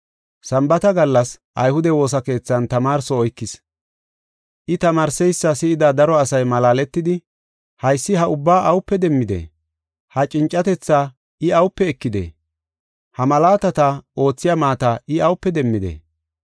Sambaata gallas ayhude woosa keethan tamaarso oykis. I tamaarseysa si7ida daro asay malaaletidi, “Haysi ha ubbaa awupe demmidee? Ha cincatethaa I awupe ekidee? Ha malaatata oothiya maata I awupe demmidee? Issiasi Ayhude Woosakeethan Nabbabishin